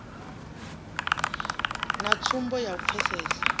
na tsumbo ya u pfesesa